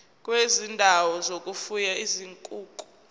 kwezindawo zokufuya izinkukhu